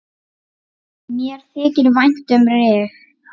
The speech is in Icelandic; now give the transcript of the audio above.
Mér þykir vænt um Rif.